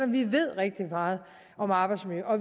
vi ved rigtig meget om arbejdsmiljø og